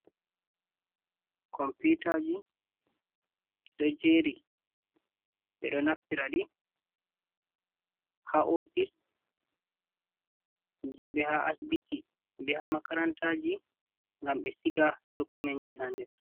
Computaji, ɗiɗo jeri, ɓe ɗo naftiraɗi ha ofice ji be ha asibiti be ha makarantaji gam ɓe siga dokumentji hander.